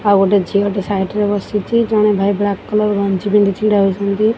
ଆଉ ଗୋଟେ ଝିଅଟେ ସାଇଟ୍ ରେ ବସିଚି ଜଣେ ଭାଇ ବ୍ଲାକ୍ କଲର୍ ଗଞ୍ଜି ପିନ୍ଧି ଛିଡ଼ାହୋଇଛନ୍ତି।